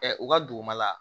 u ka dugumala